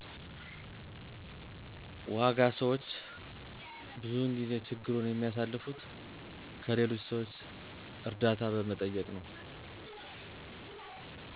ዋጋ ሰዎች ብዙውን ጊዜ ችግሩን የሚያልፉት ከሌሎች ሰዎች እርዳታ በመጠየቅ ነው።